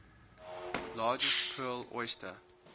largest pearl oyster